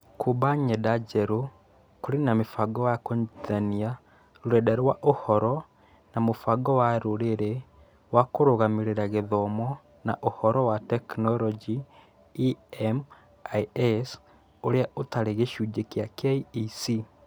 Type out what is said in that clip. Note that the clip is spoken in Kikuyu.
Kũũmba ng’enda njerũ, kũrĩ na mĩbango ya kũnyitithania rũrenda rwa ũhoro na mũbango wa rũrĩrĩ wa kũrũgamĩrĩra gĩthomo na ũhoro wa tekinoronjĩ (EMIS), ũrĩa ũtarĩ gĩcunjĩ kĩa KEC.